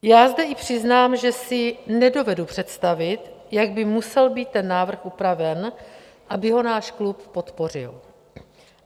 Já zde i přiznám, že si nedovedu představit, jak by musel být ten návrh upraven, aby ho náš klub podpořil.